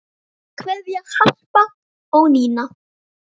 Kveðja, Harpa og Nína.